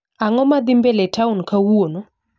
Ango madhii mbele town kawuono